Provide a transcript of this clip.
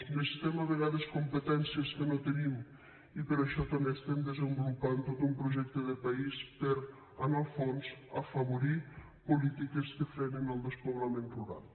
necessitem a vegades competències que no tenim i per això també estem desenvolupant tot un projecte de país per en el fons afavorir polítiques que frenin el despoblament rural